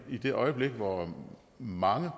i det øjeblik hvor mange